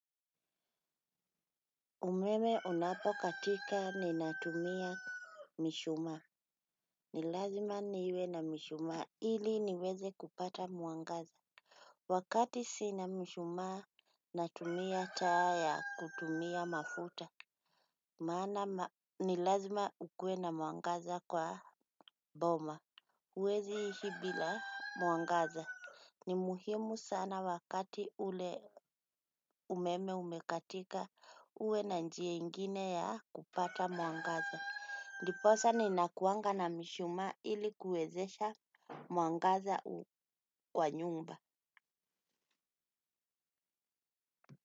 Umeme unapo katika ninatumia mishumaa. Ni lazima niwe na mishuma ili niweze kupata mwangaza. Wakati sina mishumaa natumia taa ya kutumia mafuta. Maana ma ni lazima ukuwe na mwangaza kwa boma. Huwezi ishi bila mwangaza. Ni muhimu sana wakati ule umeme umekatika uwe na njia ingine ya kupata mwangaza. Ndiposa ninakuanga na mishumaa ili kuwezesha mwangaza kwa nyumba.